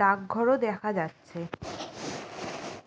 ডাকঘর ও দেখা যাচ্ছে ।